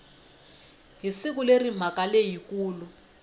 hi siku leri mhaka leyikulu